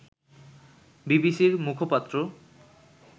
বিসিবি’র মুখপাত্র